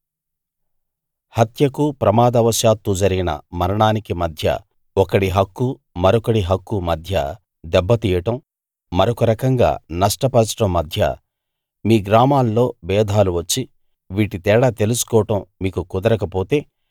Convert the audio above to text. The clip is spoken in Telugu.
హత్యకూ ప్రమాదవశాత్తూ జరిగిన మరణానికీ మధ్య ఒకడి హక్కూ మరొకడి హక్కూ మధ్య దెబ్బ తీయడం మరొక రకంగా నష్టపరచడం మధ్య మీ గ్రామాల్లో భేదాలు వచ్చి వీటి తేడా తెలుసుకోవడం మీకు కుదరకపోతే